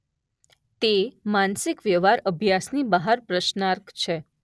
તે માનસિક વ્યવહાર અભ્યાસની બહાર પ્રશ્ર્નાર્ક છે.